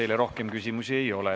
Teile rohkem küsimusi ei ole.